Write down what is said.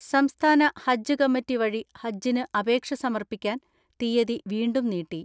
സംസ്ഥാന ഹജ്ജ് കമ്മറ്റി വഴി ഹജ്ജിന് അപേക്ഷ സമർപ്പിക്കാൻ തീയ്യതി വീണ്ടും നീട്ടി.